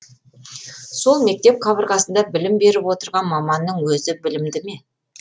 сол мектеп қабырғасында білім беріп отырған маманның өзі білімді ме